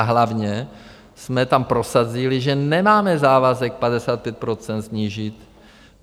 A hlavně jsme tam prosadili, že nemáme závazek 55 % snížit.